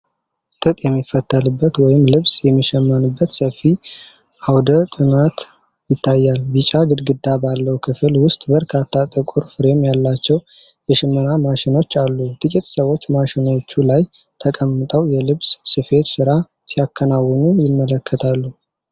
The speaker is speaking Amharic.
ጥጥ የሚፈተልበት ወይም ልብስ የሚሸመንበት ሰፊ አውደ ጥናት ይታያል። ቢጫ ግድግዳ ባለው ክፍል ውስጥ በርካታ ጥቁር ፍሬም ያላቸው የሽመና ማሽኖች አሉ። ጥቂት ሰዎች ማሽኖቹ ላይ ተቀምጠው የልብስ ስፌት ሥራ ሲያከናውኑ ይመለከታሉ።